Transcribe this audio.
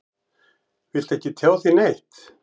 Viltu ekki tjá þig neitt?